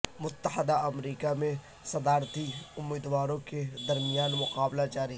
متحدہ امریکہ میں صدارتی امیدواروں کے درمیان مقابلہ جاری